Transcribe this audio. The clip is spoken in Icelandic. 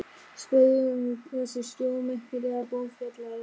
Spurði um hvað þessi stórmerkilega bók fjallaði.